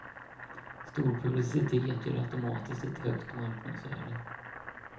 Stor publicitet ger automatiskt ett högt marknadsvärde.